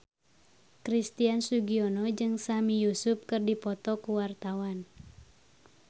Christian Sugiono jeung Sami Yusuf keur dipoto ku wartawan